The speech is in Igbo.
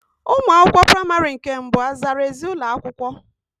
Ụmụ akwụkwọ praịmarị nke mbụ azara ezi ụlọakwụkwọ?